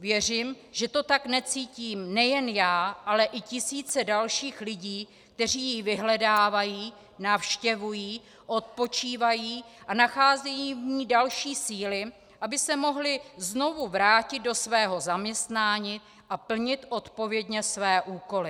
Věřím, že to také cítím nejen já, ale i tisíce dalších lidí, kteří ji vyhledávají, navštěvují, odpočívají a nacházejí v ní další síly, aby se mohli znovu vrátit do svého zaměstnání a plnit odpovědně své úkoly.